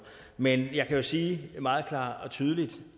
men jeg kan jo sige meget klart og tydeligt